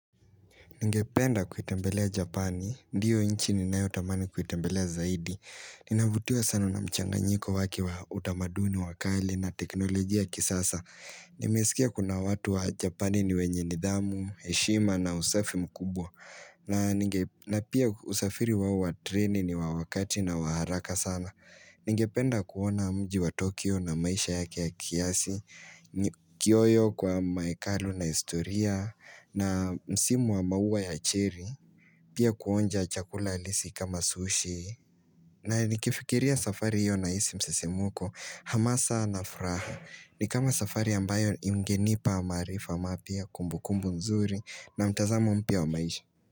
Ningependa kuitembelea Japani. Ndiyo inchi ninayotamani kuitembelea zaidi. Ninavutiwa sana na mchanganyiko wake wa utamaduni wa kale na teknolojia ya kisasa. Nimesikia kuna watu wa Japani ni wenye nidhamu, heshima na usafi mkubwa. Na pia usafiri wao wa treni ni wa wakati na wa haraka sana. Ningependa kuona mji wa Tokyo na maisha yake ya kiasi. Kiyoyo kwa maekalu na historia na msimu wa maua ya cherry Pia kuonja chakula halisi kama sushi na nikifikiria safari hiyo nahisi msisimko hamasa na fraha ni kama safari ambayo ingenipa maarifa mapya kumbukumbu nzuri na mtazamo mpya wa maisha.